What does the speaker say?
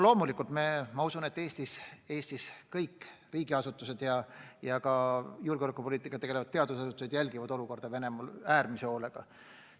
Loomulikult ma usun, et Eestis riigiasutused ja ka julgeolekupoliitikaga tegelevad teadusasutused jälgivad olukorda Venemaal äärmise hoolega.